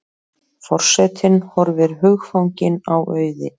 Forsetinn horfir hugfanginn á Auði.